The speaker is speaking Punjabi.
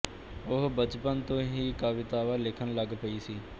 ਉਹ ਬਚਪਨ ਤੋਂ ਹੀ ਕਵਿਤਾਵਾਂ ਲਿਖਣ ਲੱਗ ਪਈ ਸੀ